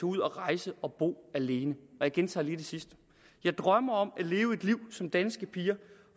ud og rejse og bo alene jeg gentager lige det sidste jeg drømmer om at leve et liv som danske piger